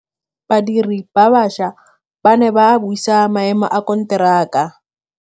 Badiri ba baša ba ne ba buisa maêmô a konteraka.